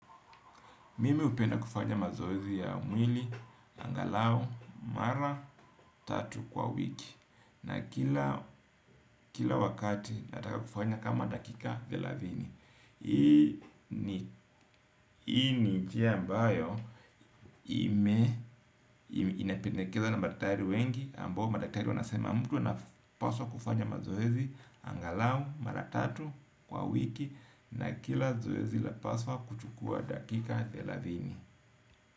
Mimi upenda kufanya mazoezi ya umwili, angalao, mara, tatu kwa wiki. Na kila wakati nataka kufanya kama dakika thelathini. Hii ni jia ambayo inapendekeza na madatari wengi ambao madaktari wanasema mtu anapaswa kufanya mazoezi, angalao, mara, tatu kwa wiki. Na kila zoezi la paswa kuchukua dakika thelathini.